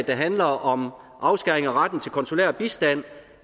der handler om afskæring af retten til konsulær bistand